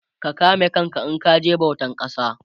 ka kame kanka in kaje bautan kasa